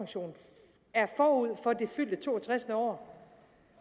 jeg er forud for det fyldte to og tres år